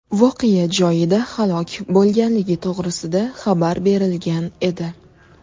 voqea joyida halok bo‘lganligi to‘g‘risida xabar berilgan edi.